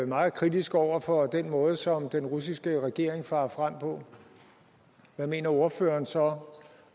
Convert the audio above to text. meget kritisk over for den måde som den russiske regering farer frem på hvad mener ordføreren så